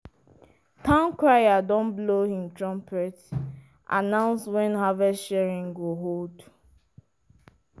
town crier don blow him trumpet announce when harvest sharing go hold.